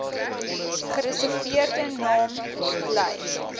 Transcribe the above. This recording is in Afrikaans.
gereserveerde naam bly